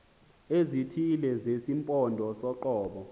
ezithile zesimpondo soqobo